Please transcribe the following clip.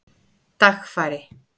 Dagfari